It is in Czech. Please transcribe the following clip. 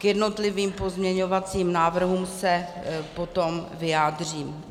K jednotlivým pozměňovacím návrhům se potom vyjádřím.